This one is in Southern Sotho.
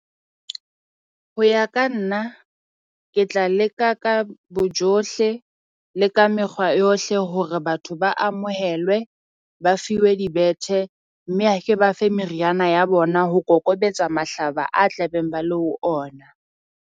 Ho ya ka nna ke tla leka ka bojohle le ka mekgwa yohle hore batho ba amohelwe, ba fiwe dibethe. Mme ha ke ba fe meriana ya bona ho kokobetsa mahlaba a tla beng ba le ho ona.